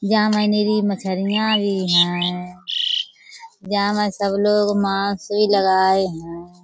यहाँ मछरियाँ भी हैं। यहाँ में सब लोग मास्क भी लगाए है।